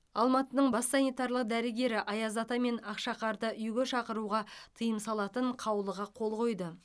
алматының бас санитарлық дәрігері аяз ата мен ақшақарды үйге шақыруға тыйым салатын қаулыға қол қойды